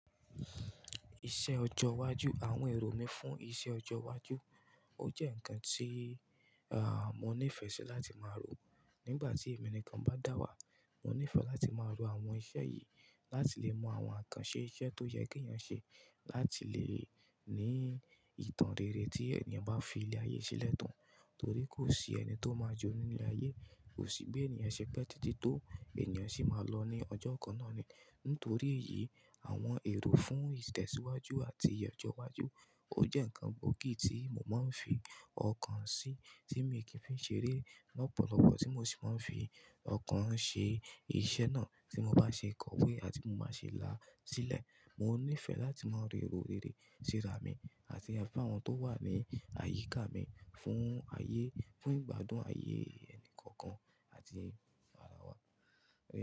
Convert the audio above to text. Iṣẹ́ ọjọ́ iwájú, àwọn èrò mi fún iṣẹ́ ọjọ́ iwájú, ó jẹ́ ǹkan tí, à, mo nífẹ̀ẹ́ sí láti máa rò ó. Nígbà tí èmi nìkan bá dà wàá, mo nífẹ̀ẹ́ láti máa rò àwọn iṣẹ́ yìí láti lè mọ àwọn akanṣe iṣẹ́ tó yẹ kí èèyàn ṣe láti lè ní ìtàn rere tí èèyàn bá fi ilé ayé sílẹ̀ tàn. Nítorí kò sí ẹni tó máa jọ nínú ilé ayé, kò sí pé èèyàn ṣe pẹ́ títí tó èèyàn sì máa lọ ní ọjọ́ kan náà ni. Nítorí èyí àwọn èrò fún ìtẹ̀síwájú àti ìyè ọjọ́ iwájú, ó jẹ́ ǹkan gbòógì tí mo máa ń fi ọkàn sí, tí mo kì í fi ṣeré lọ́pọ̀lọpọ̀, tí mo sì máa ń fi ọkàn ṣe iṣẹ́ náà tí mo bá ṣe kọwé àti bí mo bá ṣe la sílẹ̀. Mo nífẹ̀ẹ́ láti máa rò èrò rere síra mi àti fún àwọn tó wà ní àyíká mi fún ayé, fún ìgbádùn ayé ẹnì kọ̀ọ̀kan àti ara wa.